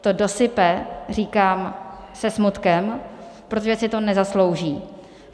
To "dosype" říkám se smutkem, protože si to nezaslouží.